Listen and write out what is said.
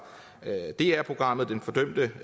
dr programmet den fordømte